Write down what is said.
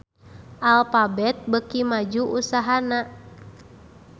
Alphabet beuki maju usahana